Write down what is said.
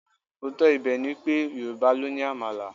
Òótọ́ ibẹ̀ ni pé, Yorùbá ló ni Àmàlà.